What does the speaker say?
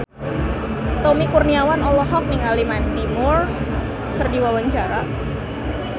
Tommy Kurniawan olohok ningali Mandy Moore keur diwawancara